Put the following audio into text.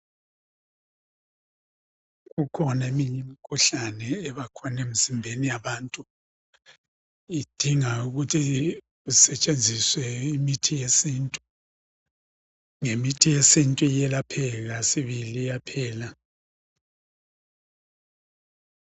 Kukhona eminyi mkhuhlane ebakhona emzimbeni yabantu .Idinga ukuthi kusetshenziswe imithi yesintu .Ngemithi yesintu iyelapheka sibili iyaphela .